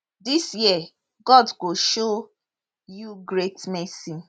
dis year god go show you great mercy